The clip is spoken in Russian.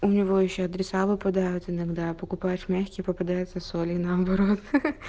у него ещё адреса выпадают иногда покупают мягкие попадаются с олей наоборот